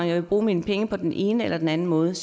jeg vil bruge mine penge på den ene eller den anden måde